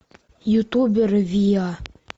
ютубер виа